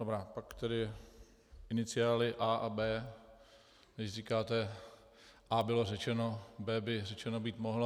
Dobrá, pak tedy iniciály A a B, když říkáte A bylo řečeno, B by řečeno být mohlo.